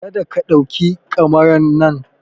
Kada ka ɗauki kamaran nan!